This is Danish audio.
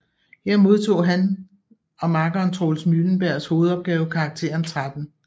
Her modtog hans og makkeren Troels Mylenbergs hovedopgave karakteren 13